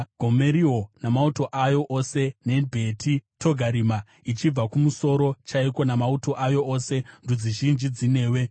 Gomeriwo namauto ayo ose, neBheti Togarima ichibva kumusoro chaiko namauto ayo ose, ndudzi zhinji dzinewe.